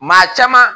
Maa caman